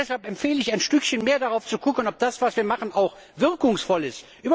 Deshalb empfehle ich, ein Stückchen mehr darauf zu schauen, ob das, was wir machen, auch wirkungsvoll ist.